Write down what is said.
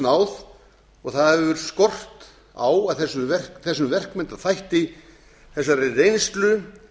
náð og það hefur skort á að þessum verkmenntaþætti þessari reynslu